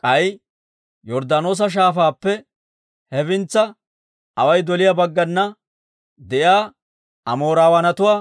K'ay Yorddaanoosa Shaafaappe hefintsa away doliyaa baggana de'iyaa Amoorawaanatuwaa